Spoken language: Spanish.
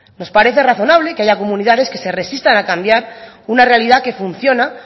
nos parece razonable que haya comunidades que se resistan a cambiar una realidad que funciona